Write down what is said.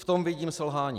V tom vidím selhání.